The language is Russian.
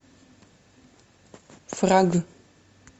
фраг